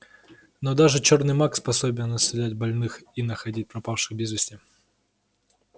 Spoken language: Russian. но даже чёрный маг способен исцелять больных и находить пропавших без вести